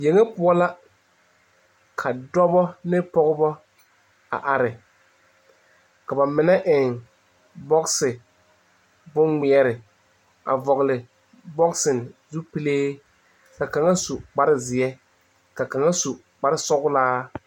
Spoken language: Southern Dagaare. Yɛŋ poɔ la ka dɔbɔ ane pɔgeba a are ka ba mine eŋ bɔse bone ŋmare a vɔle bɔse zu pele ka kaŋa su kpaare zeɛ ka kaŋa su kpaare soɔle.